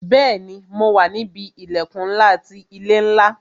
Bẹẹni, mo wà níbi ilẹkun ńlá ti ilé ńlá